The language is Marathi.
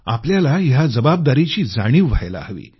आपल्याला या जबाबदारीची जाणीव व्हायला हवी